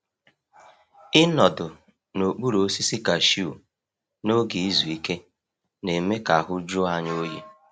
Ịnọdụ n’okpuru osisi kashiu n’oge izu ike na-eme ka ahụ jụọ anyị oyi.